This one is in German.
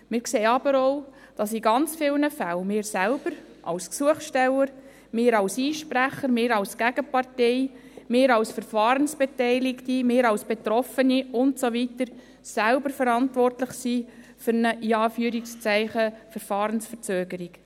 Wir sehen aber auch, dass in ganz vielen Fällen, wir selbst, als Gesuchsteller, wir als Einsprecher, wir als Gegenpartei, wir als Verfahrensbeteiligte, wir als Betroffene und so weiter, selbst verantwortlich sind für eine «Verfahrensverzögerung».